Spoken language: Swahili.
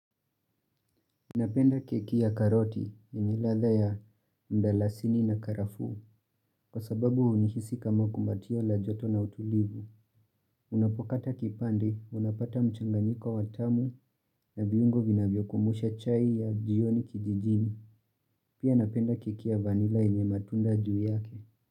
Napenda keki ya karoti, yenye ladha ya mdarasini na karafu, kwa sababu hunihisi kama kumatio la joto na utulivu. Unapokata kipande, unapata mchanganyiko watamu na viungo vina vyokumusha chai ya jioni kijijini. Pia napenda keki ya vanila yenye matunda juu yake.